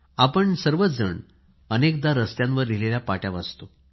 आपण सर्व जण अनेकदा रस्त्यावर लिहिलेली पाटी वाचतो